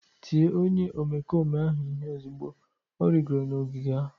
Tie onye omekome ahụ ihe ozugbo ọ rịgoro n'ogige ahụ